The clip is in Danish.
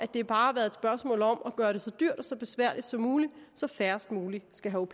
det bare har været et spørgsmål om at gøre det så dyrt og så besværligt som muligt så færrest mulige skal have